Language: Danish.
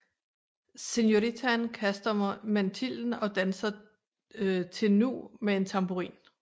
Senoritaen kaster mantillen og danser til nu med en tamburin